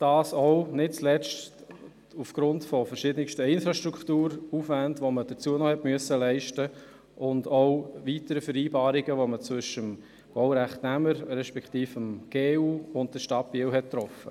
Dies nicht zuletzt aufgrund verschiedenster Infrastrukturaufwände, welche geleistet werden mussten, sowie aufgrund weiterer Vereinbarungen zwischen dem Baurechtnehmer, der Generalunternehmung (GU) und der Stadt Biel.